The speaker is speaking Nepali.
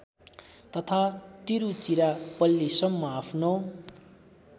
तथा तिरुचिरापल्लीसम्म आफ्नो